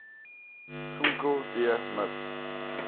vmnko tb miv